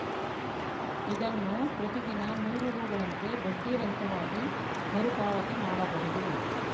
ಇದನ್ನು ಪ್ರತಿ ದಿನ ನೂರು ರುಗಳಂತೆ ಬಡ್ಡಿ ರಹಿತವಾಗಿ ಮರು ಪಾವತಿ ಮಾಡಬಹುದು